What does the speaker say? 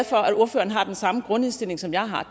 for at ordføreren har den samme grundindstilling som jeg har